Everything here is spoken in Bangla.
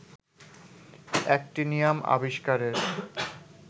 অ্যাক্টিনিয়াম আবিস্কারের